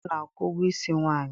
Nwoke na-akwụ ụgwọ isi nwaanyị